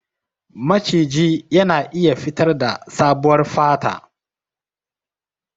Maciji yana iya fitarda sabuwar fata.